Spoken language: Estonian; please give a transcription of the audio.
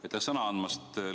Aitäh sõna andmast!